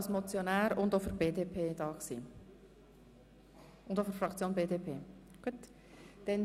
Sie haben sowohl als Motionär wie auch als Sprecher für die BDPFraktion gesprochen?